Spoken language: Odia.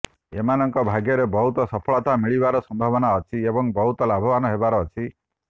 ଏମାନଙ୍କ ଭାଗ୍ୟରେ ବହୁତ ସଫଳତା ମିଳିବାର ସମ୍ଭାବନା ଅଛି ଏବଂ ବହୁତ ଲାଭବାନ ହେବାର ଅଛି